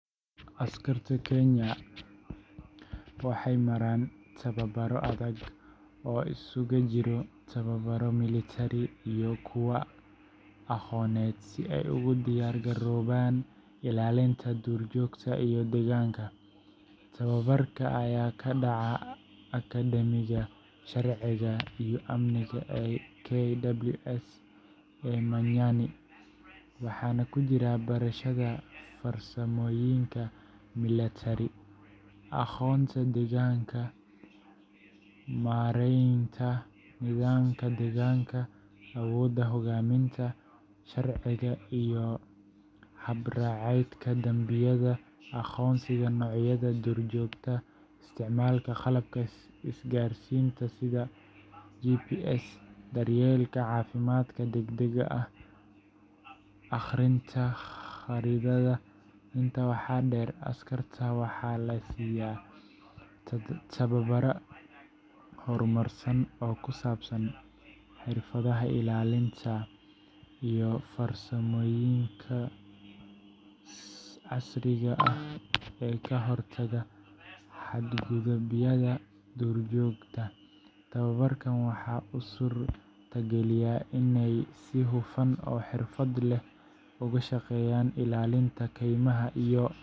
Askarta Kenya Wildlife Service KWS waxay maraan tababarro adag oo isugu jira tababaro milatari iyo kuwo aqooneed si ay ugu diyaar garoobaan ilaalinta duurjoogta iyo deegaanka. Tababarka ayaa ka dhacaa Akadeemiga Sharciga iyo Amniga ee KWSka ee Manyani, waxaana ku jira barashada farsamooyinka milatari, aqoonta deegaanka, maaraynta nidaamka deegaanka, awoodda hoggaaminta, sharciga iyo habraacyada dambiyada, aqoonsiga noocyada duurjoogta, isticmaalka qalabka isgaarsiinta sida GPSka, daryeelka caafimaadka degdegga ah, iyo akhrinta khariidadda. Intaa waxaa dheer, askarta waxaa la siiyaa tababaro horumarsan oo ku saabsan xirfadaha ilaalinta iyo farsamooyinka casriga ah ee ka hortagga xadgudubyada duurjoogta. Tababarkan ayaa u suurtageliya inay si hufan oo xirfad leh uga shaqeeyaan ilaalinta kaymaha iyo.